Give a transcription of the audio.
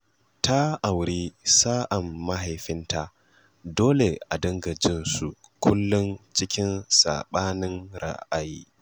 Ta auri sa'an mahaifinta dole a dinga jin su kullum cikin saɓanin ra'ayi